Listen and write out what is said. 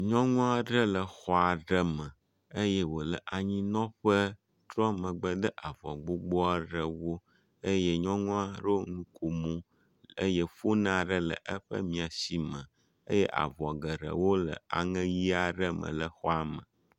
Nyɔnu aɖe le exɔ aɖe me eye wo le anyinɔƒe trɔ megbe de avɔ gbogbo aɖewo eye nyɔnua ɖo nukom eye foni aɖe le eƒe miasi me eye avɔ geɖewo le aŋe ʋi aɖe me le xɔa me.